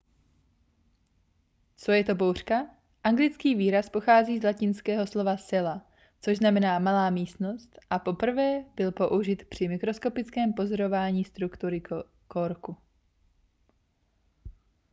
co je to buňka anglický výraz pochází z latinského slova cella což znamená malá místnost a poprvé byl použit při mikroskopickém pozorování struktury korku